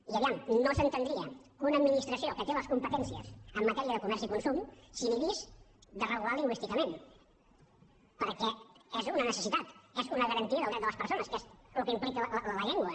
i a veure no s’entendria que una administració que té les competències en matèria de comerç i consum s’inhibís de regular lingüísticament perquè és una necessitat és una garantia del dret de les persones que és el que implica la llengua